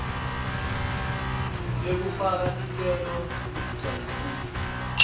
lekufaka sicelo leligcwalisiwe